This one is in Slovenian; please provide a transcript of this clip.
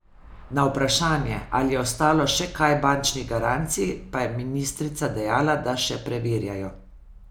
Na vprašanje, ali je ostalo še kaj bančnih garancij, pa je ministrica dejala, da še preverjajo.